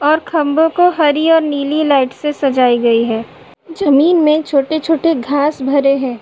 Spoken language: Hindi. और खम्बो को हरी और नीली लाइट से सजाई गयी है। जमीन में छोटे-छोटे घांस भरे हैं।